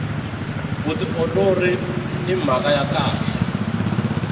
vutiolori i mhaka ya kahle